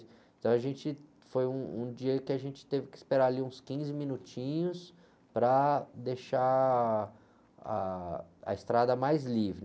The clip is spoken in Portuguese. Então a gente, foi um, um dia que a gente teve que esperar ali uns quinze minutinhos para deixar ah, a estrada mais livre.